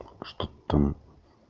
что там